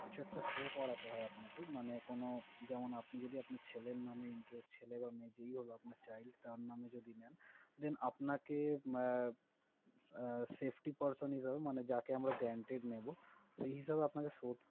কিছু একটা show করাতে হয় আপনাকে। মানে কোনো যেমন আপনি যদি আপনার ছেলের নামে interest ছেলে বা মেয়ে যেই হলো আপনার child তার নামে যদি নেন, then আপনাকে আহ safety person হিসেবে মানে যাকে আমরা guaranteed নেবো সে হিসেবে আপনাকে